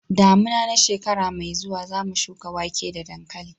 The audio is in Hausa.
damina na shekara mai zuwa zamu shuka wake da dankali